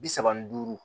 Bi saba ni duuru